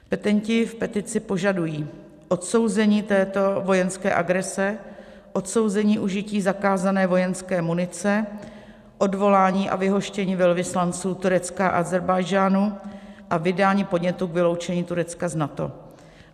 Petenti v petici požadují odsouzení této vojenské agrese, odsouzení užití zakázané vojenské munice, odvolání a vyhoštění velvyslanců Turecka a Ázerbájdžánu a vydání podnětu k vyloučení Turecka z NATO.